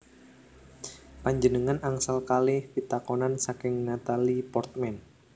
Panjenengan angsal kale pitakonan saking Natalie Portman